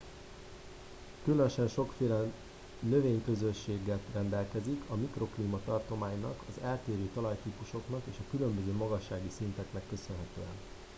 különösen sokféle növényközösséggel rendelkezik a mikroklíma tartománynak az eltérő talajtípusoknak és a különböző magassági szinteknek köszönhetően